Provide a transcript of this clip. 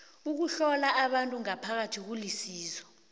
ukuhlola abantu ngaphakathi kulisizo